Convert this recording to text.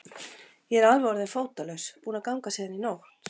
Ég er alveg orðinn fótalaus, búinn að ganga síðan í nótt.